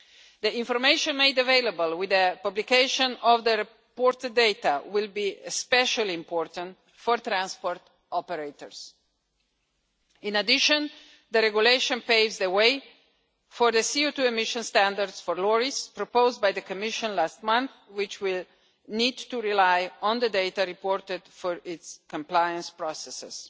The information made available with the publication of the reported data will be especially important for transport operators. In addition, the regulation paves the way for the CO2 emissions standards for lorries proposed by the Commission last month, which will need to rely on the data reported for its compliance processes.